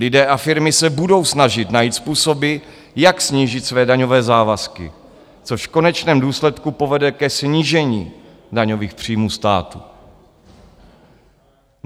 Lidé a firmy se budou snažit najít způsoby, jak snížit své daňové závazky, což v konečném důsledku povede ke snížení daňových příjmů státu.